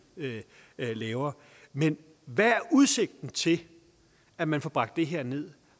lavere men hvad er udsigten til at man får bragt det her ned